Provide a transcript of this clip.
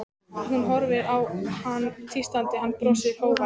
Hún horfir á hann tístandi, hann brosir, hógvær.